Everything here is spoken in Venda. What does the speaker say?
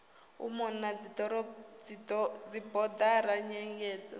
u mona na dzibodara nyengedzo